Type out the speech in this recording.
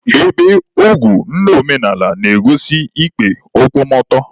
Ebe ogu ndị omenala na-egosi ikpe nkwụmọtọ.